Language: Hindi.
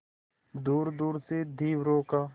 दूरदूर से धीवरों का